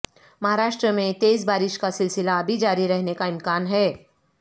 مہاراشٹر میں تیز بارش کا سلسلہ ابھی جاری رہنے کا امکان ہے